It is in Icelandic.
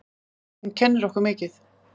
Hún kennir okkur mikið.